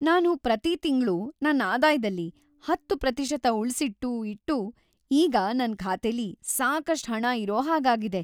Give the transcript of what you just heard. ನಾನು ಪ್ರತೀ ತಿಂಗ್ಳು ನನ್ ಆದಾಯದಲ್ಲಿ ೧೦% ಉಳ್ಸಿಟ್ಟೂ ಇಟ್ಟೂ ಈಗ ನನ್ ಖಾತೆಲಿ ಸಾಕಷ್ಟ್‌ ಹಣ ಇರೋ ಹಾಗಾಗಿದೆ.